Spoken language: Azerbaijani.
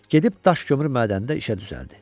Gedib daş kömürü mədənində işə düzəldi.